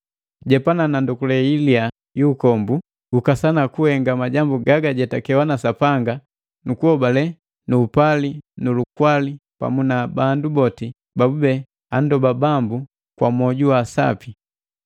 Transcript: Jepana na ndokule iliya yu ukombu, gukasana kuhenga majambu gagajetakewa na Sapanga nu kuhobale nu upali nu lukwali pamu na bandu boti babube andoba Bambu kwa mwoju wa sapi.